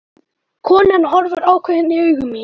Konan horfir ákveðin í augu mín.